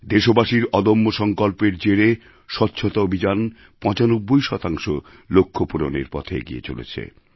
দেশবাসীর অদম্য সংকল্পের জেরে স্বচ্ছতা অভিযান ৯৫ শতাংশ লক্ষ্য পূরণের পথে এগিয়ে চলেছে